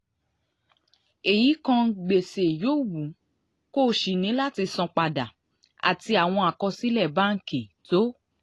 èyí kan gbèsè yòówù kó o ṣì ní láti san padà àti àwọn àkọsílẹ̀ báńkì tó